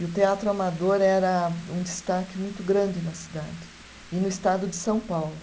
E o teatro amador era um destaque muito grande na cidade e no estado de São Paulo.